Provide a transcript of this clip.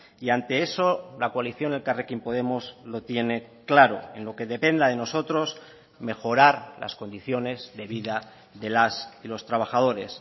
y ante eso la coalición elkarrekin podemos lo tiene claro en lo que dependa de nosotros mejorar las condiciones de vida de las y los trabajadores